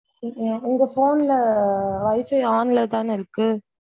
உங்க phone ல wifi on ல தான இருக்கு.